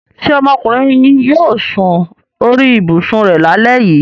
Ṣé ọmọkùnrin yóò sun orí ibùsùn rẹ lálẹ́ yìí?